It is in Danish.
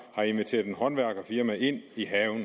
har inviteret et håndværkerfirma ind i haven